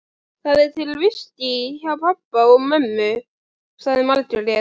Það er til viskí hjá pabba og mömmu, sagði Margrét.